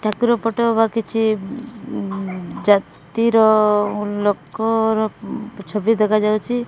ଠାକୁର photo ବା କିଛି ଜାତିର ଲୋକର ଛବି ଦେଖା ଯାଉଚି।